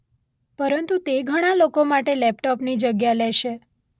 પરંતુ તે ઘણાં લોકો માટે લેપટોપની જગ્યા લેશે.